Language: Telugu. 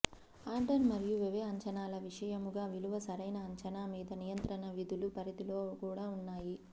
ఆర్డర్ మరియు వ్యయ అంచనాల విషయముగా విలువ సరైన అంచనా మీద నియంత్రణ విధులు పరిధిలో కూడా ఉన్నాయి